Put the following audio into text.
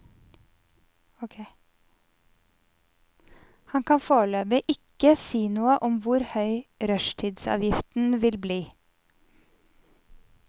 Han kan foreløpig ikke si noe om hvor høy rushtidsavgiften vil bli.